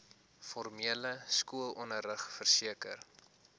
formele skoolonderrig verseker